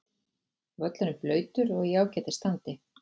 Völlurinn blautur og í ágætis standi.